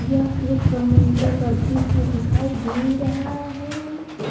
यह एक समुंद्र का दृश्य दिखाई दे रहा है।